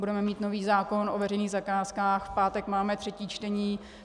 Budeme mít nový zákon o veřejných zakázkách, v pátek máme třetí čtení.